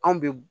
Anw bɛ